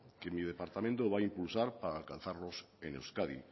que mi departamento va a impulsar para alcanzarlos en euskadi